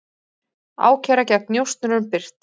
Ákæra gegn njósnurum birt